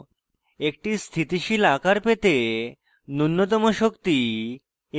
একটি স্থিতিশীল আকার পেতে নুন্যতম শক্তি